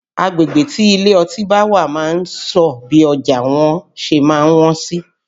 Agbegbe tí ilé ọtí bá wà máa ń sọ bí ọjà wọn ṣe máa wọ́n sí